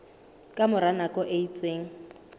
ka mora nako e itseng